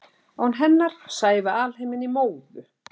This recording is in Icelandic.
Án hennar sæjum við alheiminn í móðu.